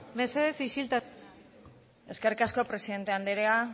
mesedez isiltasuna bai eskerrik asko presidente andrea